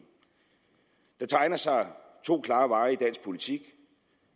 der tegner sig to klare veje i dansk politik